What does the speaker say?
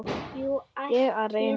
Ég er að reyna það.